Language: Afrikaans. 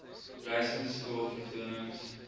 reisende skool vertonings